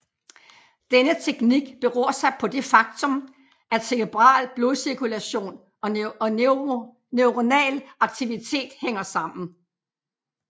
Denne teknik beror sig på det faktum at cerebral blodcirkulation og neuronal aktivitet hænger sammen